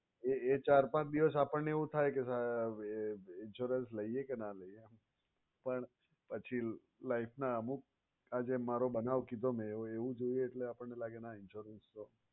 એ એ ચાર પાંચ દિવસ આપણને એવું થાય કે insurance લઈએ કે ના લઈએ પણ પછી life ના અમુક આ જે મારો બનાવ કીધો એવું જોઈએ આપણને લાગે ના insurance છે.